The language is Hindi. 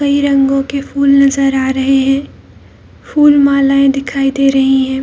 कई रंगों के फूल नजर आ रहा हैं फूल मालाऐं दिखाई दे रही है।